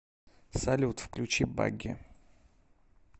салют включи баги